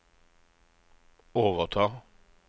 overta